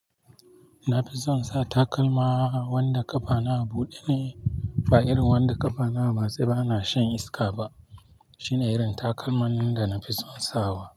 Na fi son sa takalma wanda ƙafana a buɗe ne, ba irin wanda ƙafana a matse bana shan iska ba. Shine irin takalman da na fi son sawa.